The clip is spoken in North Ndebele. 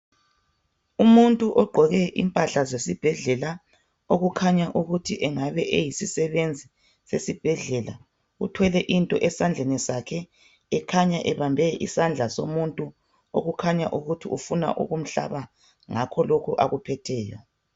Umuntu ogqqoke impahla zesibhedlela okukhanya ukuthi engabe eyisisebenzi sesibhedlela uthwele into esandleni sakhe ekhanya ebambe isandla somuntu okukhanya ukuthi ufuna ukumhlaba ngakho lokhu akuphetheyo.